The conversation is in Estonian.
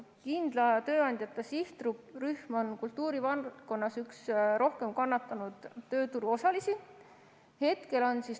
Kindla tööandjata sihtrühm on kultuurivaldkonnas üks kõige rohkem kannatanud tööturuosalisi.